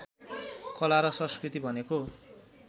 कला र संस्कृति भनेको